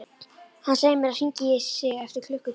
Hann segir mér að hringja í sig eftir klukkutíma.